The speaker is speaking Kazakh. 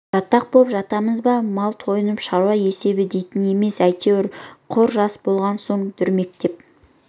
жатақ боп жатамыз ба мал тойыны шаруа есебі дейтін емес әйтеуір құр жас болған соң дүрмектен